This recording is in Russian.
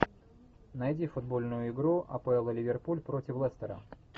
найди футбольную игру апл ливерпуль против лестера